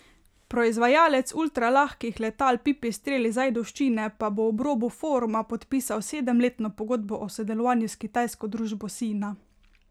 Proizvajalec ultralahkih letal Pipistrel iz Ajdovščine pa bo ob robu foruma podpisal sedemletno pogodbo o sodelovanju s kitajsko družba Sina.